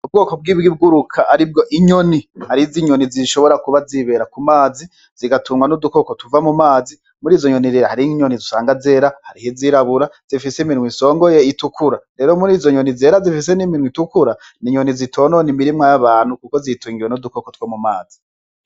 Ubwoko bw'ibiguruka aribwo inyoni, hari inyoni zishobora kuba zibera ku mazi zigatungwa n'udukoko tuva mumazi muri izo nyoni rero hari inyoni usanga zera hariho izirabura zifise iminwa isongoye itukura rero izo nyoni zera zifise n'iminwa itukura ni inyoni zitonona imirima y'abantu kuko zitungiwe n'udukoko two mumazi.